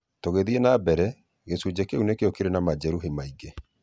"Tũgithiĩ na mbere, gĩcunjĩ kĩu nĩkĩo kĩrĩ na majeruhi maingĩ.